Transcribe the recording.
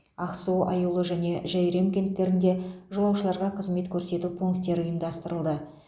ақсу аюлы және жәйрем кенттерінде жолаушыларға қызмет көрсету пункттері ұйымдастырылды